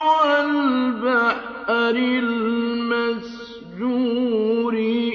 وَالْبَحْرِ الْمَسْجُورِ